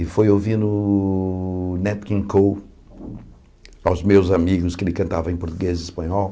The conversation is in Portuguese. E foi ouvindo o Nat King Cole, aos meus amigos, que ele cantava em português e espanhol.